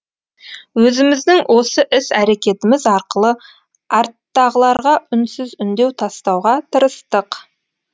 өзіміздің осы іс әрекетіміз арқылы арттағыларға үнсіз үндеу тастауға тырыстық